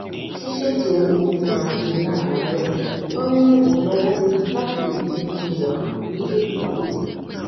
ṣíṣètò ohun tí màá ṣe láàárò máa ń ràn mí lọwọ láti lè jé kí n wà létòlétò